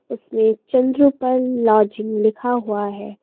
इसमें चंद्रपाल लॉजिंग लिखा हुआ है।